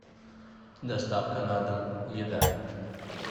доставка на дом еда